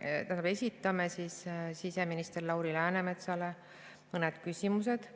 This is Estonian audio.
Seetõttu esitame siseminister Lauri Läänemetsale mõned küsimused,